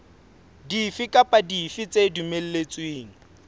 dife kapa dife tse dumelletsweng